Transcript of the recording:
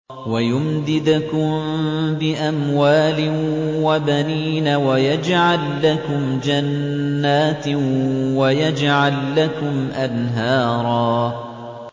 وَيُمْدِدْكُم بِأَمْوَالٍ وَبَنِينَ وَيَجْعَل لَّكُمْ جَنَّاتٍ وَيَجْعَل لَّكُمْ أَنْهَارًا